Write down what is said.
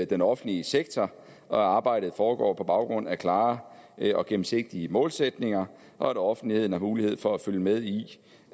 den offentlige sektor og at arbejdet foregår på baggrund af klare og gennemsigtige målsætninger og at offentligheden har mulighed for at følge med i